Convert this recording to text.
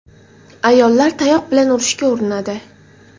Ayollar tayoq bilan urishga urinadi.